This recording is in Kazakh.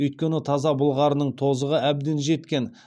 өйткені таза былғарының тозығы әбден жеткен